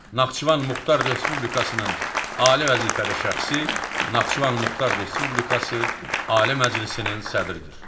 Naxçıvan Muxtar Respublikasının Ali vəzifəli şəxsi Naxçıvan Muxtar Respublikası Ali Məclisinin sədridir.